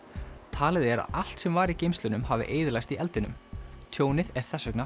talið er að allt sem var í geymslunum hafi eyðilagst í eldinum tjónið er þess vegna